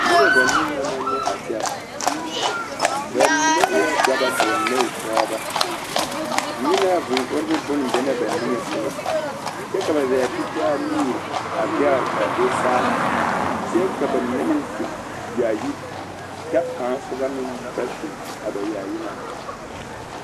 Noba banii na ma nyɛ a kyɛ ba mine eɛ dɔbɔ ka ba mine e pɔɡebɔ ŋmenaavūū oribo bon be na ba niŋe soɡa kyɛ ka ba zaa tetaa nuuri a zɛɡri ka a do saa kyɛ ka ba mine meŋ su yaayi kyɛ kaŋa soba ba su a ba yaayi na.